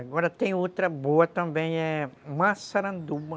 Agora tem outra boa também, é Massaranduba.